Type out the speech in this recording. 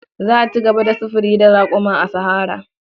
Za a ci gaba da sufuri da raƙuma a sahara.